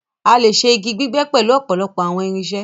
a lẹ ṣe ígi gbígbé pẹlu òpòlopò àwọn irinṣẹ́.